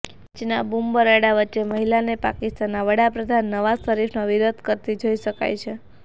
મેચના બુમબરાડા વચ્ચે મહિલાને પાકિસ્તાનના વડાપ્રધાન નવાઝ શરીફનો વિરોધ કરતી જોઈ શકાય છે